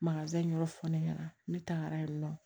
yɔrɔ fɔ ne ɲɛna ne tagara yen nɔ